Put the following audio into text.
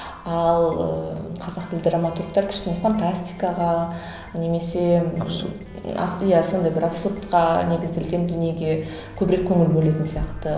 ал ыыы қазақ тілді драматургтер кішкене фантастикаға немесе абсурд иә сондай бір абсурдқа негізделген дүниеге көбірек көңіл бөлетін сияқты